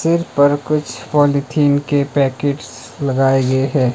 सिर पर कुछ पॉलिथीन के पैकेट्स लगाए गए हैं।